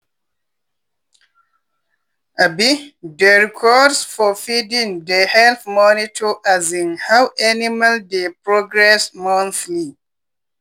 um dey records for feeding dey help monitor um how animal dey progress monthly.